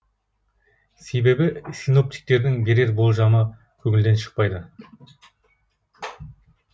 себебі синоптиктердің берер болжамы көңілден шықпайды